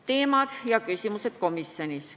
Teemad ja küsimused komisjonis olid järgmised.